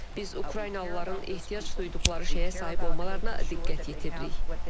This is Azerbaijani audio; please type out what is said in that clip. Biz Ukraynalıların ehtiyac duyduqları şeyə sahib olmalarına diqqət yetiririk.